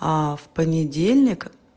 а в понедельник